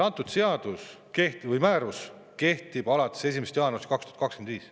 Antud määrus kehtib alates 1. jaanuarist 2025.